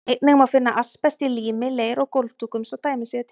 Einnig má finna asbest í lími, leir og gólfdúkum, svo dæmi séu tekin.